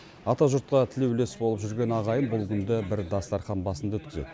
атажұртқа тілеулес болып жүрген ағайын бұл күнді бір дастархан басында өткізеді